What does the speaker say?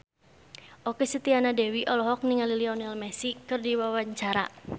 Okky Setiana Dewi olohok ningali Lionel Messi keur diwawancara